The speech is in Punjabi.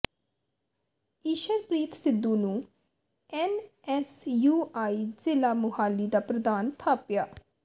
ਈਸ਼ਰਪ੍ਰੀਤ ਸਿੱਧੂ ਨੂੰ ਐਨਐਸਯੂਆਈ ਜ਼ਿਲ੍ਹਾ ਮੁਹਾਲੀ ਦਾ ਪ੍ਰਧਾਨ ਥਾਪਿਆ